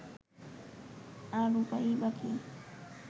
আর উপায়ই বা কী